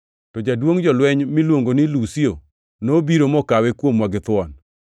To jaduongʼ jolweny miluongo ni Lusio nobiro mokawe kuomwa githuon,